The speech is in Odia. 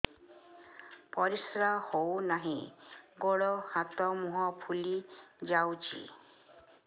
ପରିସ୍ରା ହଉ ନାହିଁ ଗୋଡ଼ ହାତ ମୁହଁ ଫୁଲି ଯାଉଛି